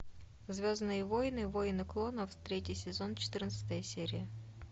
звездные войны войны клонов третий сезон четырнадцатая серия